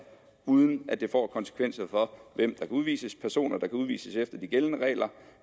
uden at det får konsekvenser for hvem der kan udvises personer der kan udvises efter de gældende regler